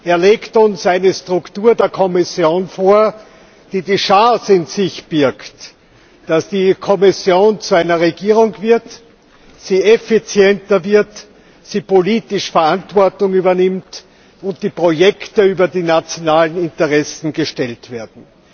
Er legt uns eine Struktur der Kommission vor, die die Chance in sich birgt, dass die Kommission zu einer Regierung wird, sie effizienter wird, sie politisch Verantwortung übernimmt und die Projekte über die nationalen Interessen gestellt werden.